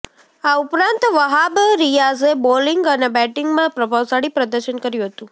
આ ઉપરાંત વહાબ રિયાઝે બોલિંગ અને બેટિંગમાં પ્રભાવશાળી પ્રદર્શન કર્યું હતું